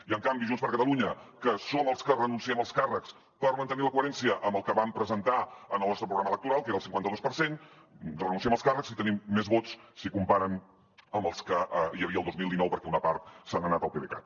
i en canvi junts per catalunya que som els que renunciem als càrrecs per mantenir la coherència amb el que vam presentar en el nostre programa electoral que era el cinquanta dos per cent renunciem als càrrecs i tenim més vots si ho comparen amb els que hi havia el dos mil dinou perquè una part se n’ha anat al pdecat